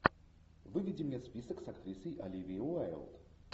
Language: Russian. выведи мне список с актрисой оливией уайлд